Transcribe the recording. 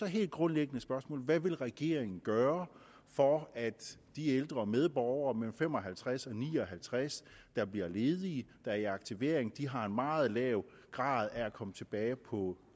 helt grundlæggende spørgsmål er hvad vil regeringen gøre for at de ældre medborgere mellem fem og halvtreds og ni og halvtreds år der bliver ledige der er i aktivering og har en meget lav grad af at komme tilbage på